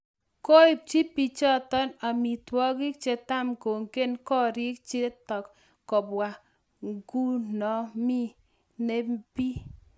Koipchi bichotok amitwagik chitangonget korik chitak kobwa ngunomu nepi.